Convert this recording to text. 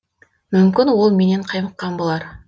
мүмкін ол менен қаймыққан болар